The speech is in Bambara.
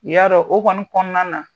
I y'a dɔn o kɔni kɔnɔna na